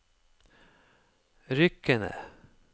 Rykene